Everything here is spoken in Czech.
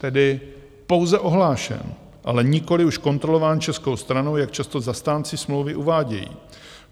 Tedy pouze ohlášen, ale nikoliv už kontrolován českou stranou, jak často zastánci smlouvy uvádějí.